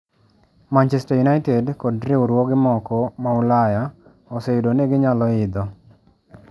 Manchester United kod riwruoge moko ma Ulaya oseyudo ni ginyalo idho.